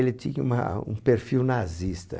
Ele tinha uma, um perfil nazista.